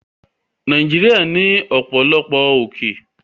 Nàìjíríà ní ọ̀pọ̀lọpọ̀ òkè